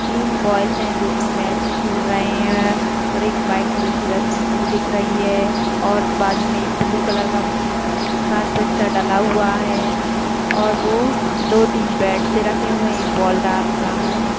तीन बॉयज है जो की मैच खेल रहे है और एक व्हाइट कलर की रस्सी सी दिख रही है और बाजू मे एक ब्लू कलर का कार्पेट सा डला हुआ है और वो दो तीन बैट्स रखे हुए है एक बॉल डाल रहा है।